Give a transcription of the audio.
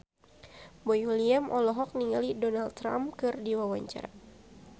Boy William olohok ningali Donald Trump keur diwawancara